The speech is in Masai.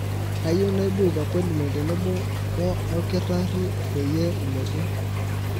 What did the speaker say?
kayieu naibuuk appointment tenebo woo olkitarri peyie ilotu